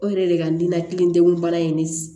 O yɛrɛ de ka di n nakilidegunbana in de